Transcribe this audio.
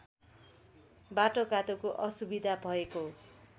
बाटोघाटोको असुविधा भएको